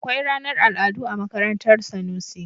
Akwai ranar al'adu a makarantar Sanusi.